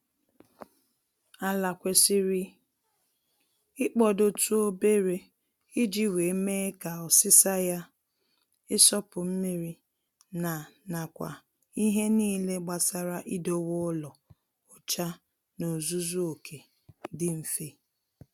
Ala kwesịrị ịkpọdotụ obere iji wee mee ka ọsịsa ya, ịsọpụ mmiri na nakwa ihe niile gbasara idowe ụlọ ọcha n'ozuzu oke, dị mfe